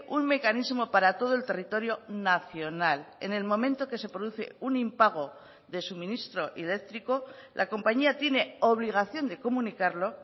un mecanismo para todo el territorio nacional en el momento que se produce un impago de suministro eléctrico la compañía tiene obligación de comunicarlo